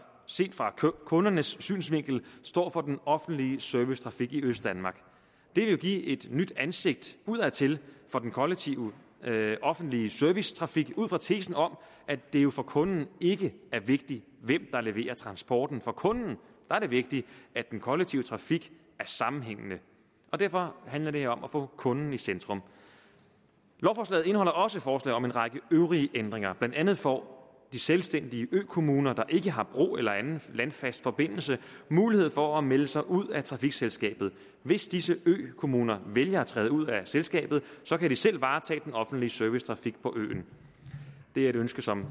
set fra kundernes synsvinkel står for den offentlige servicetrafik i østdanmark det vil give et nyt ansigt udadtil for den kollektive offentlige servicetrafik ud fra tesen om at det jo for kunden ikke er vigtigt hvem der leverer transporten for kunden er det vigtigt at den kollektive trafik er sammenhængende derfor handler det her om at få kunden i centrum lovforslaget indeholder også forslag om en række øvrige ændringer blandt andet får de selvstændige økommuner der ikke har en bro eller anden landfast forbindelse mulighed for at melde sig ud af trafikselskabet hvis disse økommuner vælger at træde ud af selskabet kan de selv varetage den offentlige servicetrafik på øen det er et ønske som